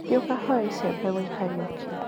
Thiĩ ũkahoe icembe gwĩ Kariuki.